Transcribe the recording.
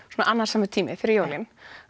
annasamur tími fyrir jólin